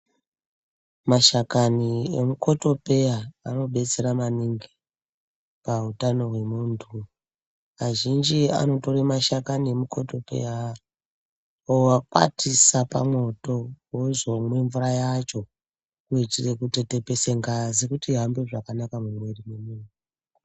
Mashakani emukotopeya anobetsera maningi pautano hwemuntu azhinji anotore mashakani emukotopeya oakwatisa pamwoto ozomwe mvura yacho kuitire kutetepese ngazi kuti ihambe zvakanaka mumwiri mwemunhu.